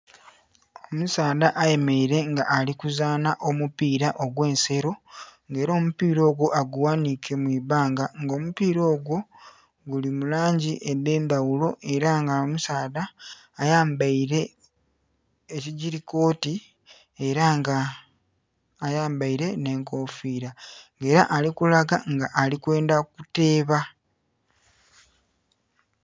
Omusaadha ayemereire nga ali kuzanha omupira ogwe'nsero nga era omupira ogwo agu ghanhike mwibbanga nga omupira ogwo guli mu langi edhe ndhaghulo era nga omusaadha ayambaire ekigili koti era nga ayambaire ekikofira nga era alikulaga nga ali kwendha kuteeba.